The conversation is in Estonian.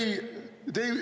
Teie aeg!